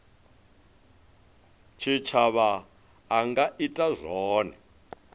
tshitshavha a nga ita zwone